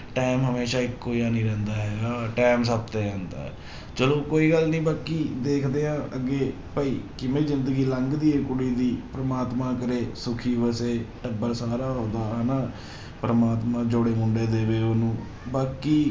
Time ਹਮੇਸ਼ਾ ਇੱਕੋ ਜਿਹਾ ਨੀ ਰਹਿੰਦਾ ਹੈਗਾ time ਸਭ ਤੇ ਆਉਂਦਾ ਹੈ, ਚਲੋ ਕੋਈ ਗੱਲ ਨੀ ਬਾਕੀ ਦੇਖਦੇ ਹਾਂ ਅੱਗੇ ਭਾਈ ਕਿਵੇਂ ਜ਼ਿੰਦਗੀ ਲੰਘਦੀ ਹੈ ਕੁੜੀ ਦੀ, ਪਰਮਾਤਮਾ ਕਰੇ ਸੁੱਖੀ ਵਸੇ ਟੱਬਰ ਸਾਰਾ ਉਹਦਾ ਹਨਾ, ਪਰਮਾਤਮਾ ਜੋੜੇ ਮੁੰਡੇ ਦੇਵੇ ਉਹਨੂੰ, ਬਾਕੀ